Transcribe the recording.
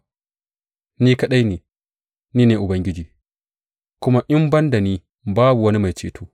Ni kaɗai, ni ne Ubangiji, kuma in ban da ni babu wani mai ceto.